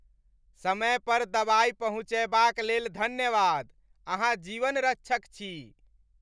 समय पर दवाई पहुँचयबाक लेल धन्यवाद। अहाँ जीवन रक्षक छी।